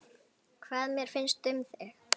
Hvað mér finnst um þig?